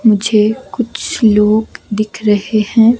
मुझे कुछ लोग दिख रहे हैं।